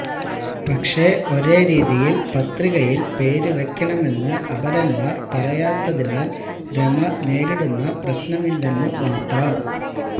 പക്ഷേ ഒരേരീതിയില് പത്രികയില് പേര് വയ്ക്കണമെന്ന് അപരന്മാര് പറയാത്തിനാല് രമ നേരിടുന്ന പ്രശ്നമില്ലെന്ന് മാത്രം